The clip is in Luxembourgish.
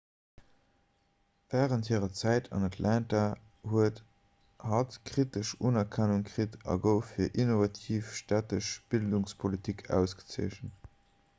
wärend hirer zäit an atlanta huet hatt kritesch unerkennung kritt a gouf fir innovativ stättesch bildungspolitik ausgezeechent